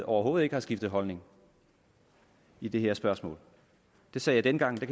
overhovedet ikke har skiftet holdning i det her spørgsmål det sagde jeg dengang og det